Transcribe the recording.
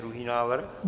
Druhý návrh.